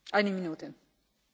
Frau Präsidentin!